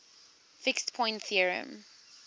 fixed point theorem